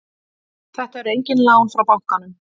Þetta eru engin lán frá bankanum